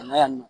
Na yan nɔ